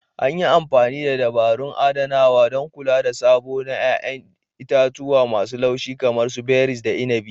An yi amfani da dabarun adanawa, don kula da sabo na 'ya'yan itatuwa masu laushi kamar berries da inabi.